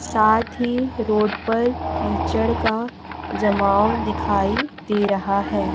साथ ही रोड पर कीचड़ का जमाव दिखाई दे रहा है।